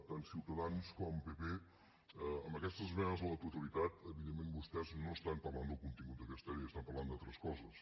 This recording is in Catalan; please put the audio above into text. tant ciutadans com pp amb aquestes esmenes a la totalitat evidentment vostès no estan parlant del contingut d’aquesta llei estan parlant d’altres coses